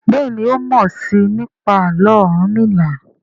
Béèni o mọ sii nípa Àló̩ Orunmila.